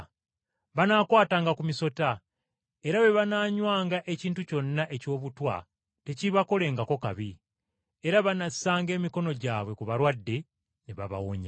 Banaakwatanga ku misota, era bwe banaanywanga ekintu kyonna ekyobutwa tekiibakolengako kabi, era banasanga emikono gyabwe ku balwadde ne babawonya.”